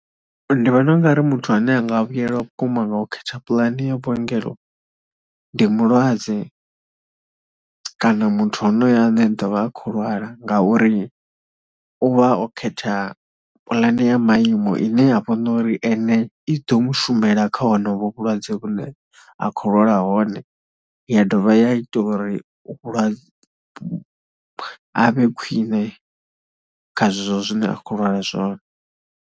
Ndi vhona u ng ari muthu ane a nga vhuyelwa vhukuma nga u khetha puḽane ya vhuongelo ndi mulwadze kana muthu onoyo ane ḓo vha a khou lwala ngauri u vha o khetha puḽane ya maimo ine ya vha no uri i ḓo mu shumela kha honoho vhulwadze vhune a khou lwala hone. Ya dovha ya ita uri a vhe khwine kha zwezwo zwine a khou lwala zwone.